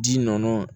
Ji nɔ